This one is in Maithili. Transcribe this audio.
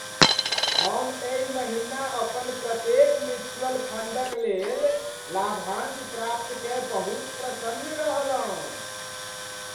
हम एहि महिना अपन प्रत्येक म्यूचुअल फंडक लेल लाभांश प्राप्त कय बहुत प्रसन्न रहलहुँ।